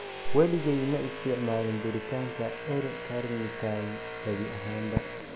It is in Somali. Waligay ma isticmaalin duritaanka L-carnitine gabi ahaanba."